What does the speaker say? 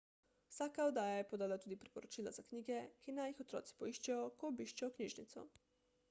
vsaka oddaja je podala tudi priporočila za knjige ki naj jih otroci poiščejo ko obiščejo knjižnico